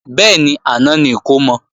Bẹ́ẹ̀ni, àná ni ìkómọ